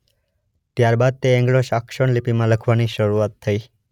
ત્યાર બાદ તે એન્ગ્લો સાક્સોન લિપિમાં લખાવાની શરૂઆત થઇ.